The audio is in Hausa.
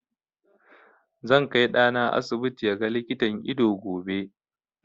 Zan kai ɗana asibiti ya ga likitan ido gobe.